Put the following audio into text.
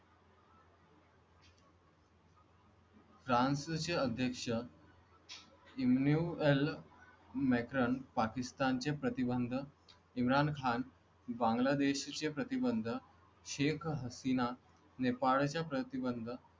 फ्रान्सचे अध्यक्ष Emmanuel Macron, Pakistan चे प्रतिबंध इम्रान खान बांगलादेशच्या प्रतिबंध शेख हसीना नेपाळ च्या प्रतिबंध.